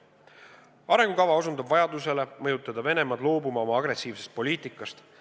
Arengukava osutab vajadusele mõjutada Venemaad loobuma oma agressiivsest poliitikast.